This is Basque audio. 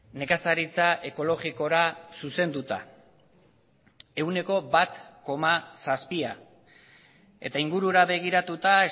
nekazaritza ekologikora zuzenduta ehuneko bat koma zazpia eta ingurura begiratuta